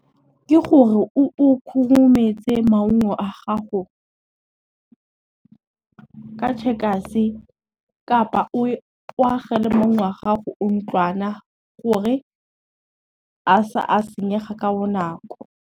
Ke gore o khurumetse maungo a gago, ka tšhekase kapa o agele maungo a gago gore a sa a senyega ka bonako.